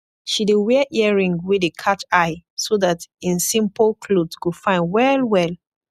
she dey wear earring wey dey katsh eye so dat en simpol kloth go fine well well